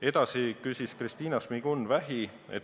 Edasi küsis Kristina Šmigun-Vähi.